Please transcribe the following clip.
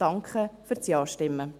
Danke für das Ja-Stimmen.